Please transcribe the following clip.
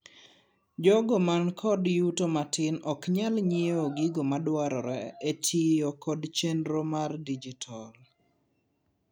jogo man kod yuto matin oknyal nyiewo gigomadwarore e tiyo kod chenro mar dijital